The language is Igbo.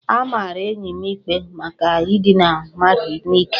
A mara enyi m ikpe maka idina mmadụ n'ike